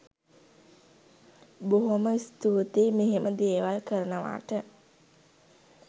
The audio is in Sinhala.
බොහොම ස්තුතියි මෙහෙම දේවල් කරනවට